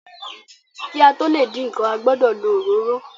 Ki a to le din nkán, a gbọdọ lo òróró.